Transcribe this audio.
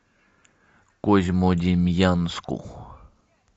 козьмодемьянску